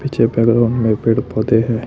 पीछे बैकग्राउंड में है पेड़ पौधे हैं।